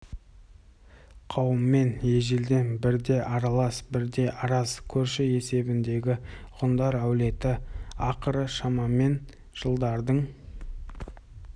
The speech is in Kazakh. қауымымен ежелден бір де аралас бір де араз көрші есебіндегі ғұндар әулеті ақыры шамамен жылдардың